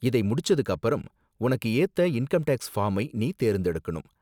இதை முடிச்சதுக்கு அப்பறம், உனக்கு ஏத்த இன்கம் டேக்ஸ் ஃபார்மை நீ தேர்ந்தெடுக்கணும்.